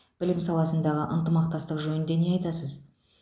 білім саласындағы ынтымақтастық жөнінде не айтасыз